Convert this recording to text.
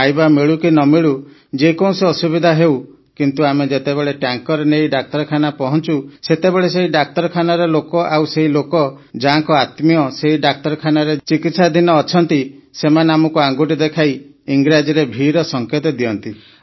ଖାଇବା ମିଳୁ କି ନ ମିଳୁ ଯେ କୌଣସି ଅସୁବିଧା ହେଉ କିନ୍ତୁ ଆମେ ଯେତେବେଳେ ଟ୍ୟାଙ୍କର ନେଇ ଡାକ୍ତରଖାନା ପହଞ୍ଚୁ ସେତେବେଳେ ସେହି ଡାକ୍ତରଖାନାର ଲୋକ ଆଉ ସେହି ଲୋକ ଯାହାଙ୍କ ଆତ୍ମୀୟ ସେହି ଡାକ୍ତରଖାନାରେ ଚିକିତ୍ସାଧୀନ ଅଛନ୍ତି ସେମାନେ ଆମକୁ ଆଙ୍ଗୁଠି ଦେଖାଇ ଇଂରାଜୀ ଭିର ସଙ୍କେତ ଦିଅନ୍ତି